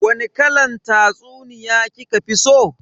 Wani kalan tatsuniya kika fi so?